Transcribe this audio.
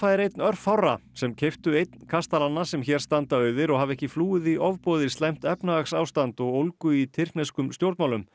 er einn örfárra sem keyptu einn kastalanna sem hér standa auðir og hafa ekki flúið í ofboði slæmt efnahagsástand og ólgu í tyrkneskum stjórnmálum